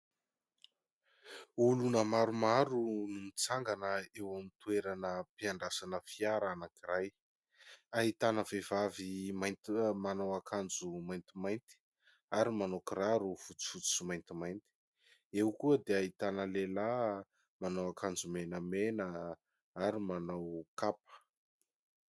Oloana maromaro no mitsangana eo amin'ny toeram-piandrasana fiara anankiray. Ahitana vehivavy manao ankanjo maintImainty, ary manao kiraro fotsyifotso sy maintimainty. Eo koa dia ahitana lehilahy manao ankanjo menamena, ary manao kapa.